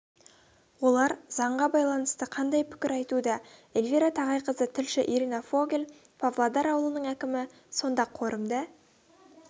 олар заңға байланысты қандай пікір айтуда эльвира тағайқызы тілші ирина фогель павлодар ауылының әкімі сонда қорымды